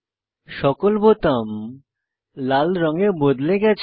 সকল বোতাম লাল রঙে বদলে গেছে